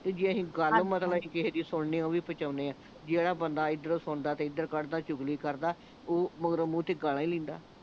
ਤੇ ਜੇ ਅਸੀਂ ਗੱਲ ਮਤਲਬ ਅਸੀਂ ਕਿਸੇ ਦੀ ਸੁਣਨੀ ਓਹ ਵੀ ਪਚਾਉਣੇ ਆ ਜਿਹੜਾ ਬੰਦ ਐਧਰੋਂ ਸੁਣਦਾ ਤੇ ਐਧਰੋਂ ਕੱਢਦਾ ਚੁਗਲੀ ਕਰਦਾ ਓਹ ਮਗਰੋਂ ਮੂੰਹ ਤੇ ਗਾਲਾਂ ਈ ਲੈਂਦਾ